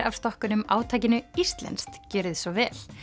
af stokkunum átakinu Íslenskt gjörið svo vel